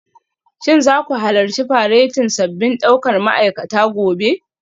Shin za ku halarci faretin sabbin daukar ma'aikata gobe?